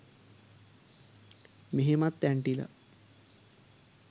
මෙහෙමත් ඇන්ටිලා